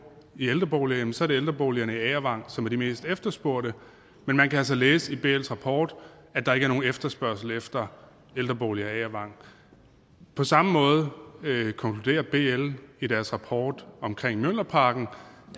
i ældrebolig jamen så er det ældreboligerne i agervang som er de mest efterspurgte men man kan altså læse i bls rapport at der ikke er nogen efterspørgsel efter ældreboliger i agervang på samme måde konkluderer bl i deres rapport om mjølnerparken at